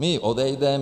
My odejdeme.